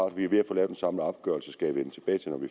at vi er ved at få lavet en samlet opgørelse jeg skal vende tilbage når vi